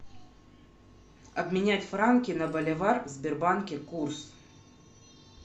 обменять франки на боливар в сбербанке курс